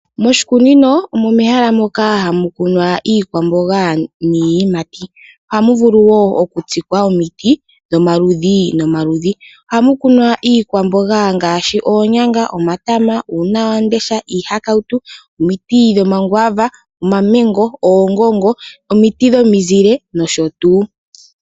Moshikunino omo mehala moka hamu kunwa iikwamboga niiyimati ohamu vulu wo okutsikwa omiti dhomaludhi nomaludhi ohamu kumwa iikwamboga ngaashi oonyanga ,omatama, uunawamundesha iihakautu ,omiti dhomangwaava omamengo ,oongongo omiti dhomizile nosho tuu.